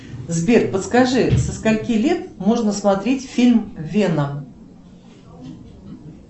сбер подскажи со скольки лет можно смотреть фильм веном